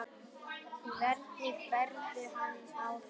Hvernig berðu hann á þig?